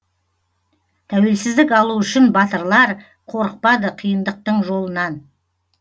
тәуелсіздік алу үшін батырлар қорықпады қиындықтың жолынан